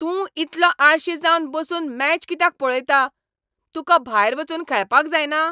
तूं इतलो आळशी जावन बसून मॅच कित्याक पळयता? तुका भायर वचून खेळपाक जायना?